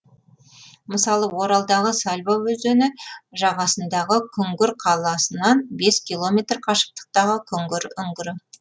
мысалы оралдағы сальва өзені жағасындағы күңгір қаласынан бес километр қашықтықтағы күңгір үңгірі